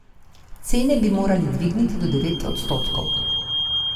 Cene bi morali dvigniti do devet odstotkov.